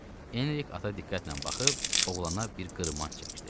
Enrik ata diqqətlə baxıb oğlana bir qırmanc çəkdi.